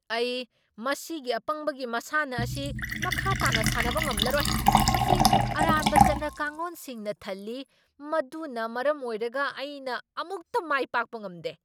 ꯑꯩ ꯃꯁꯤꯒꯤ ꯑꯄꯪꯕꯒꯤ ꯃꯁꯥꯟꯅ ꯑꯁꯤ ꯃꯈꯥ ꯇꯥꯅ ꯁꯥꯟꯅꯕ ꯉꯝꯂꯔꯣꯏ꯫ ꯃꯁꯤ ꯑꯔꯥꯟꯕ ꯆꯠꯅ ꯀꯥꯡꯂꯣꯟꯁꯤꯡꯅ ꯊꯜꯂꯤ ꯃꯗꯨꯅ ꯃꯔꯝ ꯑꯣꯏꯔꯒ ꯑꯩꯅ ꯑꯃꯨꯛꯇ ꯃꯥꯏ ꯄꯥꯛꯄ ꯉꯝꯗꯦ꯫